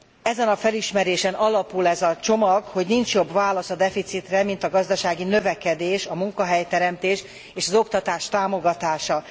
Ezen a felismerésen alapul ez a csomag, hogy nincs jobb válasz a deficitre, mint a gazdasági növekedés, a munkahelyteremtés és az oktatás támogatása.